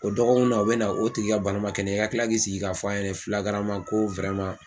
O dɔgɔkun na u bɛ na o tigi ka bana man kɛnɛya i ka kila k'i sigi k'a fɔ a ɲɛnɛ ko